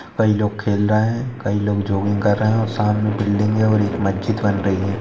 कई लोग खेल रहे हैं कई लोग जॉगिंग कर रहे हैं सामने बिल्डिंगे और मस्जिद बन रही है।